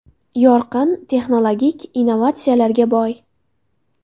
Yorqin, texnologik, innovatsiyalarga boy.